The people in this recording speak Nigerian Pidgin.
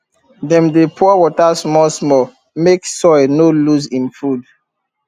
dem dey pour water smallsmall make soil no lose im food